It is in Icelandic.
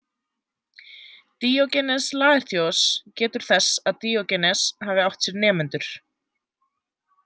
Díógenes Laertíos getur þess að Díógenes hafi átt sér nemendur.